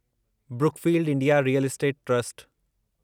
Brookfield India real estate trust